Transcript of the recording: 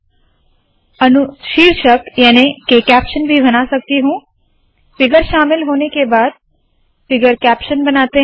मैं अनुशीर्षक याने के कैप्शन भी बना सकती हूँ फिगर शामिल होने के बाद फिगर कैप्शन बनाते है